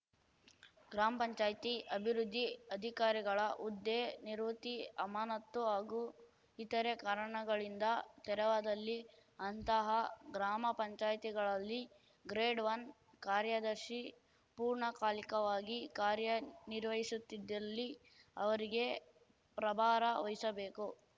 ಗ್ರಾಮ್ಪಂಚಾಯ್ತಿ ಅಭಿವೃದ್ಧಿ ಅಧಿಕಾರಿಗಳ ಹುದ್ದೆ ನಿವೃತ್ತಿ ಅಮಾನತ್ತು ಹಾಗೂ ಇತರೆ ಕಾರಣಗಳಿಂದ ತೆರವಾದಲ್ಲಿ ಅಂತಹ ಗ್ರಾಮ ಪಂಚಾಯಿತಿಗಳಲ್ಲಿ ಗ್ರೇಡ್‌ಒನ್ ಕಾರ್ಯದರ್ಶಿ ಪೂರ್ಣಕಾಲಿಕವಾಗಿ ಕಾರ್ಯನಿರ್ವಹಿಸುತ್ತಿದ್ದಲ್ಲಿ ಅವರಿಗೆ ಪ್ರಭಾರ ವಹಿಸಬೇಕು